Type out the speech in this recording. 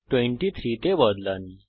49 কে 23 তে বদলান